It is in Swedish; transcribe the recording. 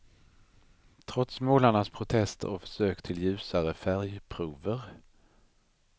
Trots målarnas protester och försök till ljusare färgprover.